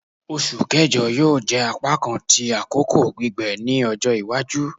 Oṣu Kẹjọ yoo jẹ apakan ti akoko gbigbẹ ni ọjọ iwaju